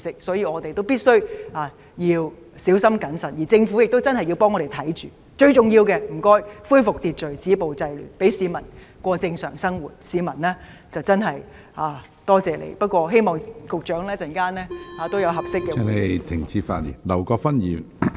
所以，我們必須小心謹慎，政府亦要為我們緊密注視情況，最重要的是恢復秩序，止暴制亂，讓市民過正常生活，市民便會真正多謝你，希望局長稍後能有合適的回應。